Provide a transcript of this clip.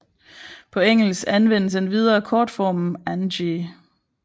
På engelsk anvendes endvidere kortformen Angie